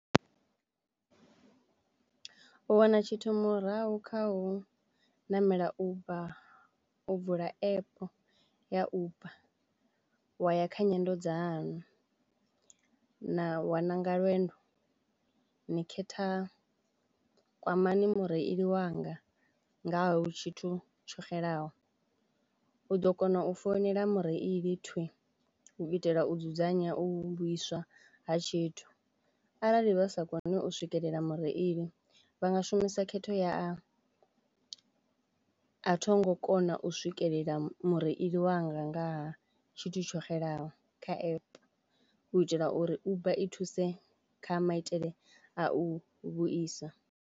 U wana tshithu murahu kha u ṋamela Uber u vula app ya uber wa ya kha nyendo dzaṋu na waṋanga lwendo ni khetha kwamani mureili wanga ngaha tshithu tsho xelaho, u ḓo kono u founela mureili thwi u itela u dzudzanya u vhuiswa ha tshithu arali vha sa koni u swikelela mureili vha nga shumisa khetho ya a a thongo kona u swikelela mureili wanga ngaha tshithu tsho xelaho kha app u itela uri Uber i thuse kha maitele a u vhuisa.